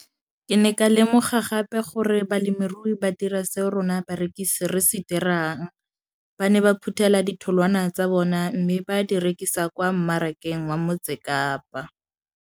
Ke ne ka lemoga gape gore balemirui ba dira seo rona barekisi re se dirang, ba ne ba phuthela ditholwana tsa bona mme ba di rekisa kwa marakeng wa Motsekapa.